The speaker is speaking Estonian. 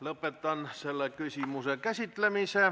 Lõpetan selle küsimuse käsitlemise.